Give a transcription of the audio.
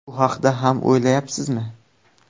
Bu haqda ham o‘ylayapsizmi?